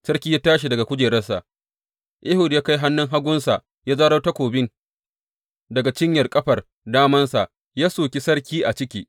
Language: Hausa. Sarki ya tashi daga kujerarsa, Ehud ya kai hannun hagunsa, ya zaro takobi daga cinyar ƙafar damansa ya soki sarki a ciki.